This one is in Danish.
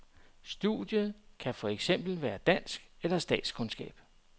Studiet kan for eksempel være dansk eller statskundskab.